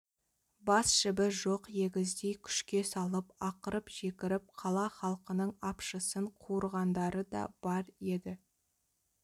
бас жібі жоқ егіздей күшке салып ақырып-жекіріп қала халқының апшысын қуырғандары да бар еді